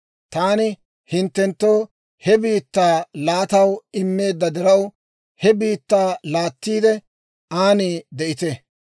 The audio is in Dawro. Taani hinttenttoo he biittaa laataw immeedda diraw, he biittaa laattiide, aan de'ite.